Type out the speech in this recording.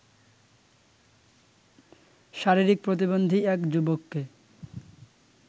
শারীরিক প্রতিবন্ধী এক যুবককে